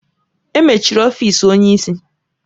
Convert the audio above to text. Emechiri ọfịs onye isi.